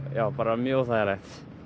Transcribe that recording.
já bara mjög óþægileg